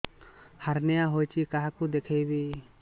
hernia ହୋଇଛି କାହାକୁ ଦେଖେଇବି